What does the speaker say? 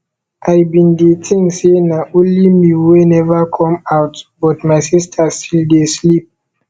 i bin dey think say na only me wey never come out but my sister still dey sleep